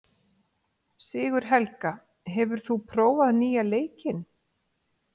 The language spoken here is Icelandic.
Sigurhelga, hefur þú prófað nýja leikinn?